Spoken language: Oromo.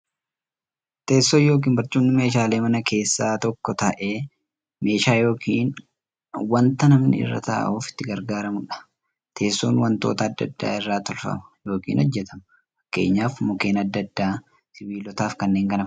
Teessoon yookiin barcumni meeshaalee manaa keessaa tokko ta'ee, meeshaa yookiin wanta namni irra ta'uuf itti gargaaramuudha. Teessoon wantoota adda addaa irraa tolfama yookiin hojjatama. Fakkeenyaf Mukkeen adda addaa, sibilootaafi kanneen kana fakkaatan irraa tolfamu.